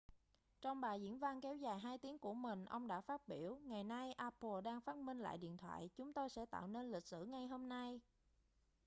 trong bài diễn văn kéo dài 2 tiếng của mình ông đã phát biểu ngày nay apple đang phát minh lại điện thoại chúng tôi sẽ tạo nên lịch sử ngay hôm nay